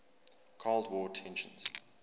cold war tensions